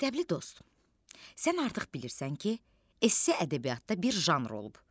Məktəbli dost, sən artıq bilirsən ki, SS ədəbiyyatda bir janr olub.